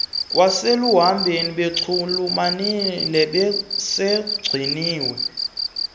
kwaseluhambeni bechulumancile esogqunyiwe